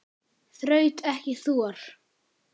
Þraut ekki þor.